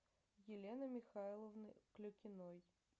елены михайловны клюкиной